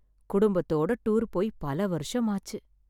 குடும்பத்தோட டூர் போய் பல வருஷம் ஆச்சு.